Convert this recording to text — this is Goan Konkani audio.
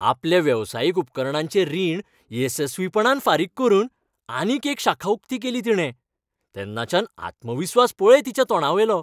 आपल्या वेवसायीक उपकरणांचें रीण येसस्वीपणान फारीक करून आनीक एक शाखा उक्ती केली तिणे. तेन्नाच्यान आत्मविस्वास पळय तिच्या तोंडावेलो.